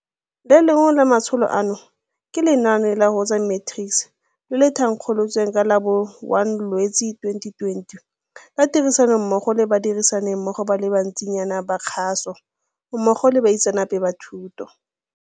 Le lengwe la matsholo ano ke lenaane la Woza Matrics, le le thankgolotsweng ka la bo 01 Lwetse 2020 ka tirisanommogo le badirisanimmogo ba le bantsinyana ba kgaso mmogo le baitseanape ba thuto.